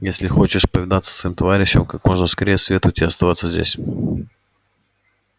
если хочешь повидаться со своим товарищем как можно скорее советую тебе остаться здесь